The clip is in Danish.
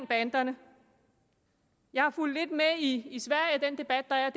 banderne jeg har fulgt lidt med i den debat der er